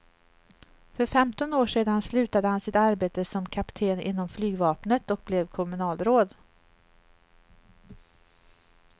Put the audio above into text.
För femton år sedan slutade han sitt arbete som kapten inom flygvapnet och blev kommunalråd.